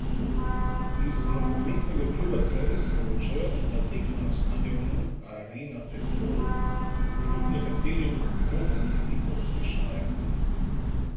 Iz nogometnega kluba Celje sporočajo, da tekma na stadionu Arena Petrol kljub nekaterim dvomom ni pod vprašajem.